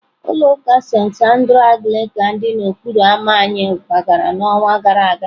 Ulọ uka Sentị Andrews Anglican dị n'okporo ámá anyị kwagara n'ọnwa gara aga.